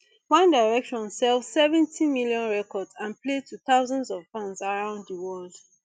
one direction sell seventy million records and play to thousands of fans around di world